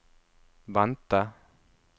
vente